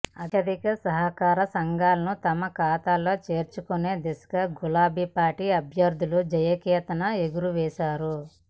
అత్యధిక సహకార సంఘాలను తమ ఖాతాలో చేర్చుకునే దిశగా గులాబీ పార్టీ అభ్యర్థులు జయకేతనం ఎగురవేశారు